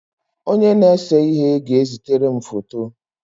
Onye na-ese ihe ga-ezitere m foto m.